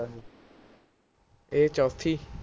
ਏ ਚੌਥੀ